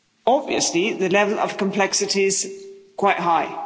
Obviously, the level of complexity is quite high.